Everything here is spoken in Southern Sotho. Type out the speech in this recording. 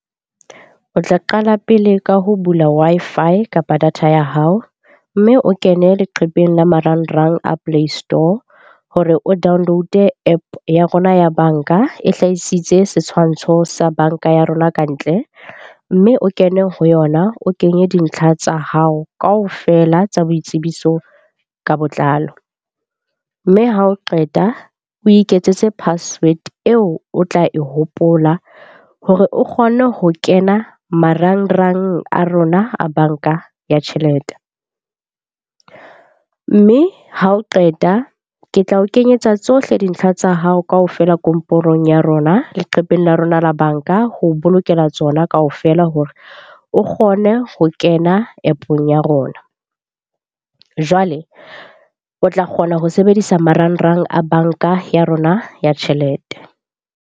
O tla qala pele ka ho bula Wi-Fi kapa data ya hao mme o kene leqhepeng la marangrang a play store hore o download-e App ya rona ya banka, e hlahisitse setshwantsho sa banka ya rona ka ntle. Mme o kene ho yona, o kenye dintlha tsa hao kaofela tsa boitsebiso ka botlalo. Mme ha o qeta o iketsetse password eo o tla e hopola hore o kgone ho kena marangrang a rona a banka ya tjhelete. Mme ha o qeta, ke tla o kenyetsa tsohle dintlha tsa hao kaofela komporong ya rona, leqhepeng la rona la banka ho bolokela tsona ka hofela hore o kgone ho kena App-ong ya rona. Jwale o tla kgona ho sebedisa marangrang a banka ya rona ya tjhelete.